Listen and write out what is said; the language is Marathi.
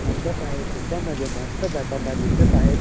मंडप आहे त्याच्या मध्ये मानस जाताना दिसत आहेत.